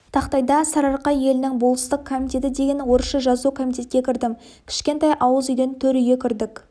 тақтайда сарыарқа елінің болыстық комитеті деген орысша жазу комитетке кірдім кішкентай ауыз үйден төр үйге кірдік